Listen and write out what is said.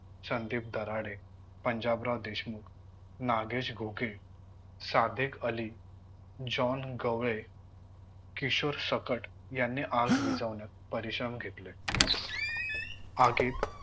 Sandeep Darade, Panjabrao Deshmukh, Nagesh Ghoke, Sadiq Ali, John Gawale, Kishor Sakat यांनी आग विझवण्यात परिश्रम घेतले. आगीत